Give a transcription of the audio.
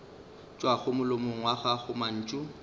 tšwago molomong wa gago mantšu